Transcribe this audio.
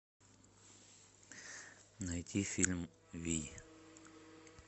найти фильм вий